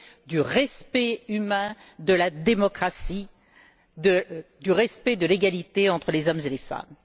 du respect humain, de la démocratie, du respect de l'égalité entre les hommes et les femmes.